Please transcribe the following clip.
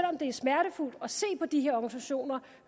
om det er smertefuldt at se på de her organisationer